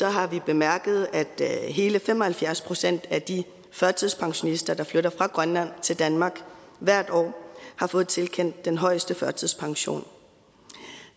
har vi bemærket at hele fem og halvfjerds procent af de førtidspensionister der flytter fra grønland til danmark hvert år har fået tilkendt den højeste førtidspension